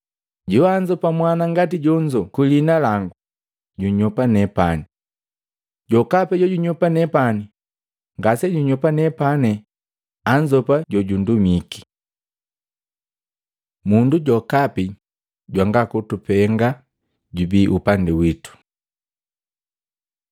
“Joanzopa mwana ngati jonzo kwi liina langu, junyopa nepane. Jokapi jojunyopa nepani ngasejunyopa nepena anzopa jojundumike.” Mundu jokapi jwanga kutupenga jubii upandi witu Luka 9:49-50